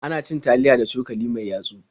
Ana cin taliya da cokali mai yatsu.